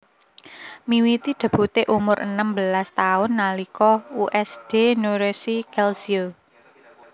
Miwiti debute umur enem belas taun nalika U S D Nuorese Calcio